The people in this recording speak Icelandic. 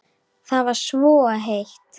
Það var svo heitt.